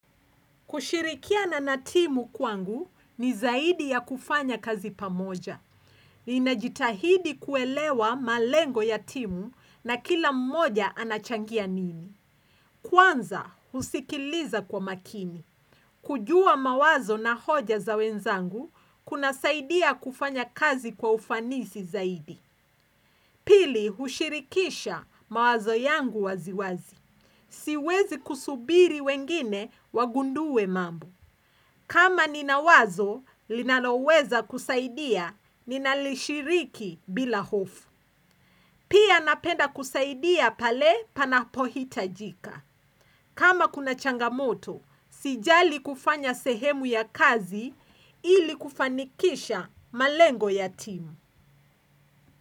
Kushirikia na timu kwangu ni zaidi ya kufanya kazi pamoja. Ninajitahidi kuelewa malengo ya timu na kila mmoja anachangia nini. Kwanza, husikiliza kwa makini. Kujua mawazo na hoja za wenzangu, kunasaidia kufanya kazi kwa ufanisi zaidi. Pili, hushirikisha mawazo yangu waziwazi. Siwezi kusubiri wengine wagundue mambo kama ninawazo, linaloweza kusaidia, ninalishiriki bila hofu. Pia napenda kusaidia pale panapohitajika. Kama kuna changamoto, sijali kufanya sehemu ya kazi ili kufanikisha malengo ya timu.